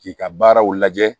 K'i ka baaraw lajɛ